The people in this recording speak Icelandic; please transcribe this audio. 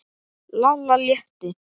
Lalla létti.